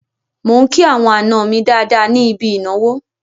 Mò ń kí àwọn àna mi dáadáa ní ibi ìnáwó.